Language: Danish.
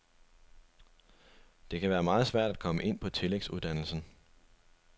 Det kan være meget svært at komme ind på tillægsuddannelsen.